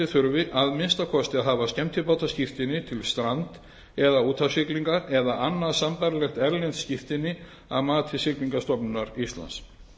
þurfi að minnsta kosti að hafa skemmtibátaskírteini til strand eða úthafssiglinga eða annað sambærilegt erlent skírteini að mati siglingastofnunar íslands